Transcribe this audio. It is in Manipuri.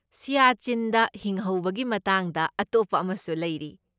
ꯁꯤꯌꯥꯆꯤꯟꯗ ꯍꯤꯡꯍꯧꯕꯒꯤ ꯃꯇꯥꯡꯗ ꯑꯇꯣꯞꯄ ꯑꯃꯁꯨ ꯂꯩꯔꯤ꯫